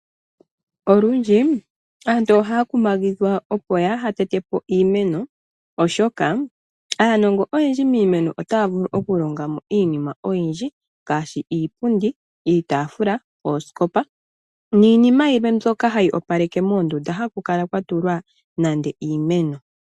Olundji aantu ohaya kumagidhwa opo kaaya tete po iimeno, oshoka aanongo oyendji miimeno otaya vulu oku longa mo iinima oyindji, ngaashi iipundi, iitaafula, oosikopa niinima yilwe mbyoka hayi opaleke moondunda, haku kala kwa tulwa nande iimeno.